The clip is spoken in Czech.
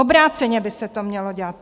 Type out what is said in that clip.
Obráceně by se to mělo dělat.